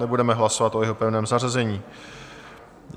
Nebudeme hlasovat o jeho pevném zařazení.